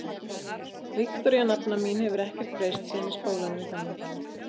Viktoría, nafna mín, hefur ekkert breyst síðan í skólanum í gamla daga.